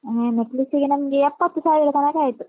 ಹಾ necklace ಗೆ ನಮ್ಗೆ ಎಪ್ಪತ್ತು ಸಾವಿರ ತನಕ ಆಯ್ತು.